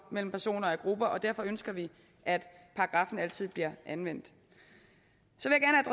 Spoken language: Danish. mellem personer af grupper og derfor ønsker vi at paragraffen altid bliver anvendt